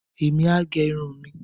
èmi á gẹ irun mi